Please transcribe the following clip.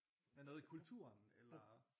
Der er noget i kulturen eller